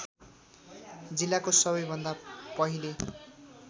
जिल्लाको सबैभन्दा पहिले